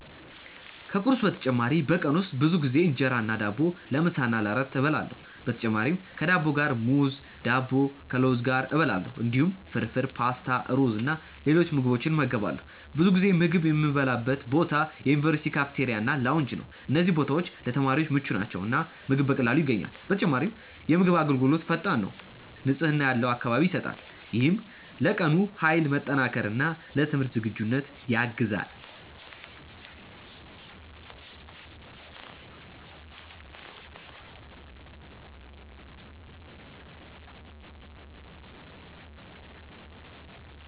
ከቁርስ በተጨማሪ በቀን ውስጥ ብዙ ጊዜ እንጀራ እና ዳቦ ለምሳ እና ለእራት እበላለሁ። በተጨማሪም ከዳቦ ጋር ሙዝ፣ ዳቦ ከለውዝ ጋር እበላለሁ። እንዲሁም ፍርፍር፣ ፓስታ፣ ሩዝ እና ሌሎች ምግቦችን እመገባለሁ። ብዙ ጊዜ ምግብ የምበላበት ቦታ የዩኒቨርሲቲ ካፍቴሪያ እና ላውንጅ ነው። እነዚህ ቦታዎች ለተማሪዎች ምቹ ናቸው እና ምግብ በቀላሉ ይገኛል። በተጨማሪም የምግብ አገልግሎት ፈጣን ነው፣ ንጽህና ያለው አካባቢ ይሰጣል። ይህም ለቀኑ ኃይል መጠናከር እና ለትምህርት ዝግጁነት ያግዛል።